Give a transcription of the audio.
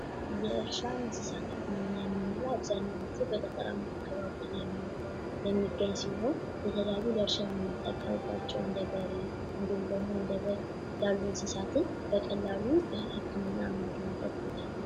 የእርሻ እንስሳት የምንለው አብዛኛውን ጊዜ በገጠር አካባቢ የሚናገኘው ሲሆን የተለያዩ ለእርሻ የምንጠቀምባቸው እንደበሬ እንዲሁም ደግሞ እንደ በግ ያለው እንስሳትን በቀላሉ የምናገኝበት ቦታ ነው።